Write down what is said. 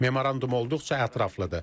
Memorandum olduqca ətraflıdır.